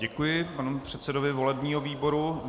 Děkuji panu předsedovi volebního výboru.